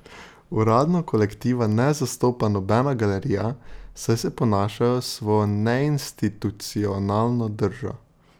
Uradno kolektiva ne zastopa nobena galerija, saj se ponašajo s svojo neinstitucionalno držo.